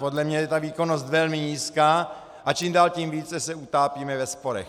Podle mě je ta výkonnost velmi nízká a čím dál tím více se utápíme ve sporech.